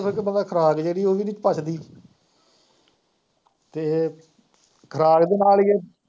ਇਕਦਮ ਖੁਰਾਕ ਜਿਹੜੀ ਉਹ ਵੀ ਨੀ ਪੱਚਦੀ ਤੇ ਖੁਰਾਕ ਦੇ ਨਾਲ ਈ ਏ।